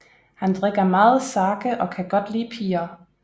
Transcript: Han drikker meget sake og kan godt lide piger